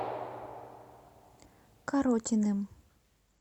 коротиным